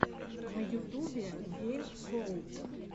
на ютубе гейм коуб